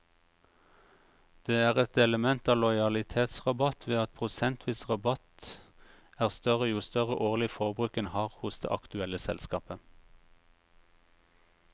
Det er et element av lojalitetsrabatt ved at prosentvis rabatt er større jo større årlig forbruk en har hos det aktuelle selskapet.